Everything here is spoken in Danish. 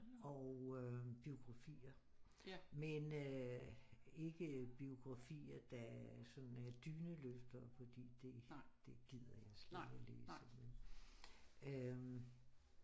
Og øh biografier men øh ikke biografier der sådan er dyneløftere fordi det det gider jeg slet ikke at læse vel